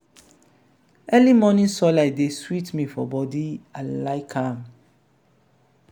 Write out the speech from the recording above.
early morning sunlight dey sweet me for bodi i like am.